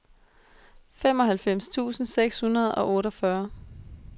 femoghalvfems tusind seks hundrede og otteogfyrre